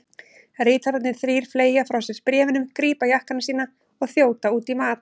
Ritararnir þrír fleygja frá sér bréfunum, grípa jakkana sína og þjóta út í mat.